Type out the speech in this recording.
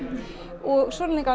og